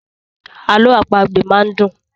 Àlọ àpagbè máa ń dùn.